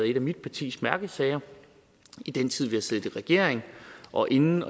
en af mit partis mærkesager i den tid vi har siddet i regering og inden